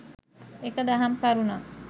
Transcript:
එක දහම් කරුණක්